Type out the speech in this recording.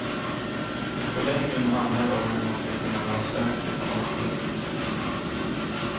I förlängningen handlar det om hur man ska kunna vara säker på någonting.